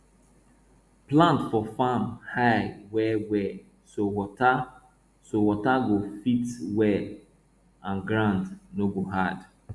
plant for farm high well well so water so water go fit well and ground no go hard